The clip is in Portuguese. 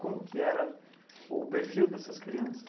Como que era o perfil dessas crianças?